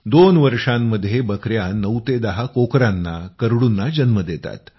दोन वर्षांमध्ये बकया 9 ते 10 कोकरांनाकरडूंना जन्म देतात